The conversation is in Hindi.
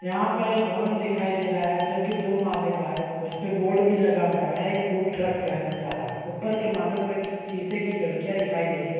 यहाँ पर एक भवन दिखाई दे रहा है जोकि दो माले का है उस पे बोर्ड भी लगा हुआ है वह एक फ़ूड ट्रक का है नजर आ रहा है ऊपर के मालों पे शीशे की खिड़कियाँ दिखाई दे रही है।